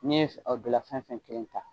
N'i ye o bila fɛn o fɛn kelen ta